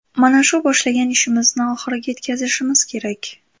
Mana shu boshlagan ishimizni oxiriga yetkazishimiz kerak.